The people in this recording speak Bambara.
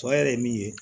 Tɔ yɛrɛ ye min ye